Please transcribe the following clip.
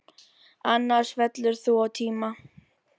Annars fellur þú á tíma.